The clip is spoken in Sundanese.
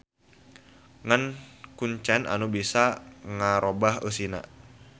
Ngan kuncen anu bisa ngarobah eusina.